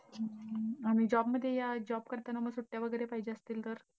आणि job मध्ये या job करताना मग सुट्ट्या वैगरे पाहीजे असतील तर?